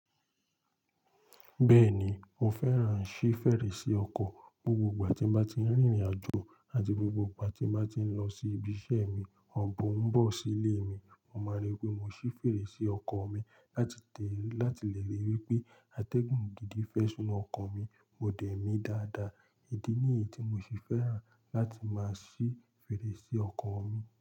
Bẹ́ẹ̀ni, mo fẹ́ràn ṣí fèrèsé ọkọ̀. Gbogbo ìgbà tí mo bá ti rìnrìn-àjò àti gbogbo ìgbà tí mo bá ti ń lọ sí ibi iṣẹ́ mi àbọ̀ ń bọ̀ sí ilé mi, mo máa rí pé mo ṣí fèrèsé ọkọ̀ mi láti lè rí wípé atẹ́gùn gidi fẹṣí ọkọ̀ mi, mo dẹ̀ mí dáadáa. Idí nìyí tí mo ṣe fẹ́ràn láti máa ṣí fèrèsé ọkọ̀ mi.